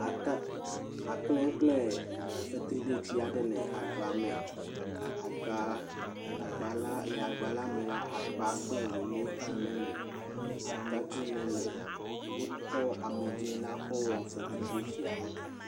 Akple akple kple fetridetsia ɖe le agba me. Agba agba le agba la me la, akpa kple woelɛ hã le eme. Atadi le eme. Wokɔ amidze la kɔ wɔ fetridetsia.